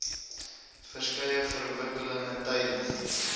verskeie verwikkelinge tydens